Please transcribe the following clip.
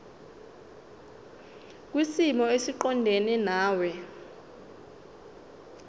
kwisimo esiqondena nawe